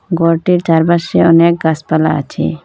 ঘরটির চারপাশে অনেক গাসপালা আছে।